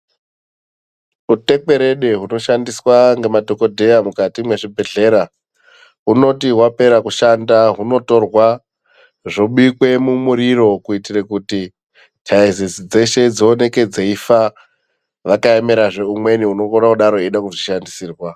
Utekwerede hunoshandiswa ngemadhokodheya mukati mwezvibhehlera, hunoti wapera kushanda hunotorwa zvobikwe mumuriro kuitira kuti taizizi dzeshe dzioneke dzeifa, vakaemerazve umweni unokona kuda kuzvishandisirwa.